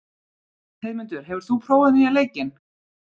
Heiðmundur, hefur þú prófað nýja leikinn?